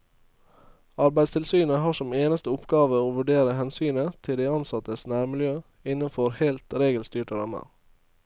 Arbeidstilsynet har som eneste oppgave å vurdere hensynet til de ansattes nærmiljø innenfor helt regelstyrte rammer.